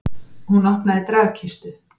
Hún opnaði dragkistu.